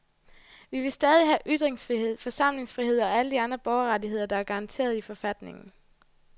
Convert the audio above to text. Vi vil stadig have ytringsfrihed, forsamlingsfrihed og alle de andre borgerrettigheder, der er garanteret i forfatningen.